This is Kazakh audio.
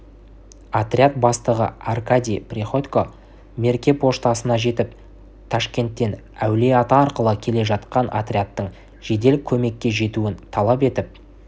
отряд бастығы аркадий приходько мерке поштасына жетіп ташкенттен әулие-ата арқылы келе жатқан отрядтың жедел көмекке жетуін талап етіп